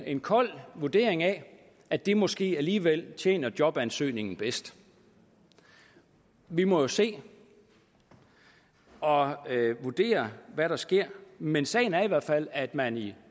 en kold vurdering af at det måske alligevel tjener jobansøgningen bedst vi må jo se og vurdere hvad der sker men sagen er i hvert fald at man i